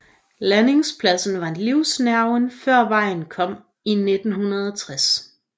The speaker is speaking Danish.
Landingspladsen var livsnerven før vejen kom i 1960